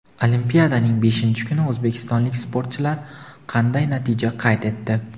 Olimpiadaning beshinchi kuni o‘zbekistonlik sportchilar qanday natija qayd etdi?.